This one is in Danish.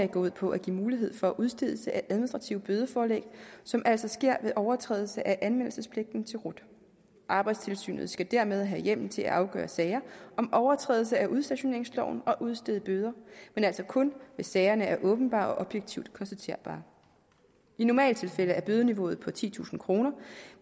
går ud på at give mulighed for udstedelse af administrative bødeforelæg som altså sker ved overtrædelse af anmeldelsespligten til rut arbejdstilsynet skal dermed have hjemmel til at afgøre sager om overtrædelse af udstationeringsloven og udstede bøder men altså kun hvis sagerne er åbenbare og objektivt konstaterbare i normaltilfælde er bødeniveauet titusind kr